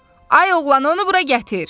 Ay oğlan, onu bura gətir!